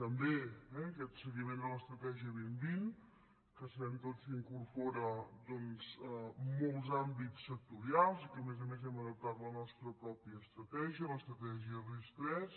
també eh aquest seguiment de l’estratègia dos mil vint que sabem tots que incorpora molts àmbits sectorials i que a més a més hem adaptat la nostra pròpia estratègia l’estratègia ris3